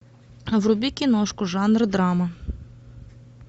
вруби киношку жанра драма